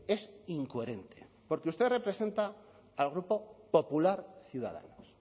es incoherente porque usted representa al grupo popular ciudadanos